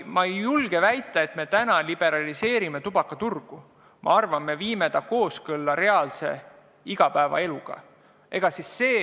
Ma ei julge väita, et me liberaliseerime tubakaturgu, ma arvan, et me viime selle kooskõlla reaalse igapäevaeluga.